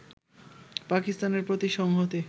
পাকিস্তানের প্রতি সংহতি